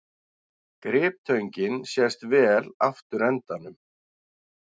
Griptöngin sést vel afturendanum.